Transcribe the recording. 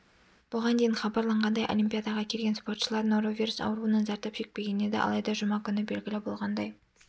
бұған дейін хабарланғандай олимпиадаға келген спортшылар норовирус ауруынан зардап шекпеген еді алайда жұма күні белгілі болғандай